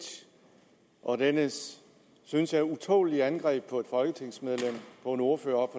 og dennes synes jeg utålelige angreb på et folketingsmedlem en ordfører